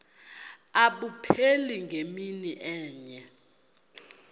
abupheli ngemini enye